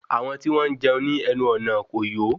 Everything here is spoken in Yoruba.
Àwọn tí wọn jẹun ní ẹnu ọnà kò yọ